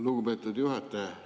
Lugupeetud juhataja!